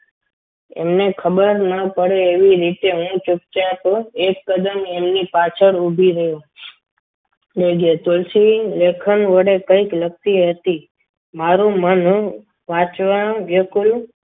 ખબર ના પડે એવી રીતે હું ચૂપચાપ એકદમ એમની પાછળ ઉભી રહી ને કે તુલસી લેખન વડે કંઈક લખતી હતી. મારું મન વાંચવા વિકુળ